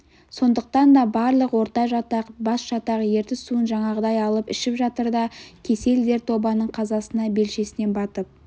сондықтан да барлық ортажатақ басжатақ ертіс суын жаңағыдай алып ішіп жатыр да кесел дерт обаның қазасына белшесінен батып